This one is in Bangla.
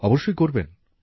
অবশ্যই করবেন